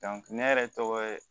ne yɛrɛ tɔgɔ ye